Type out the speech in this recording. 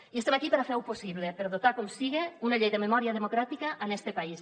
i estem aquí per fer ho possible per dotar com sigui d’una llei de memòria democràtica este país